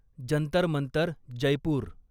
Jantar Mantar Jaipur